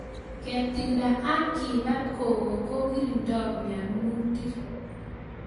Ketilda ak kepat koko ko lirindoi mianutik